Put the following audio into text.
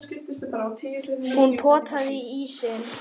Hún potaði í ísinn.